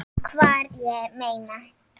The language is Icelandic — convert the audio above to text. Hvar, ég meina.